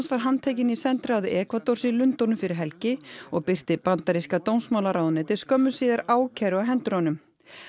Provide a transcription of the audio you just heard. var handtekinn í sendiráði Ekvadors í Lundúnum fyrir helgi og birti bandaríska dómsmálaráðuneytið skömmu síðar ákæru á hendur honum